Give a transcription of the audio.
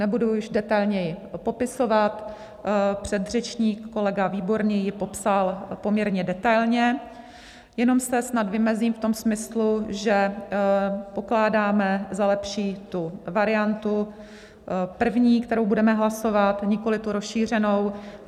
Nebudu již detailněji popisovat, předřečník kolega Výborný ji popsal poměrně detailně, jenom se snad vymezím v tom smyslu, že pokládáme za lepší tu variantu první, kterou budeme hlasovat, nikoli tu rozšířenou.